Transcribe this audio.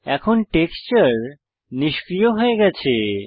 এখন টেক্সচার নিষ্ক্রিয় হয়ে গেছে